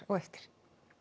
eftir